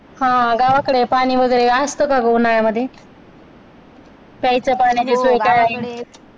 हा. गावाकडे पाणी वगैरे असतो का ग उन्हाळ्यामध्ये प्यायच्या पाण्याची सोय काय आहे